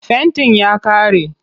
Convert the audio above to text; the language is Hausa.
Fentin ya ƙare.